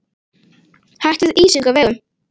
Hætt við ísingu á vegum